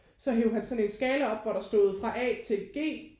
Så hev han sådan en skala op hvor der stod fra A til G